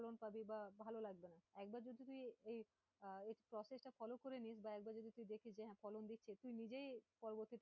ফলন পাবি বা ভালো লাগবে না, একবার যদি তুই এই আহ এর process টা follow করে নড়িস, বা একবার যদি তুই দেখিস যে হ্যাঁ, ফলন দিচ্ছে, তুই নিজেই পরবর্তী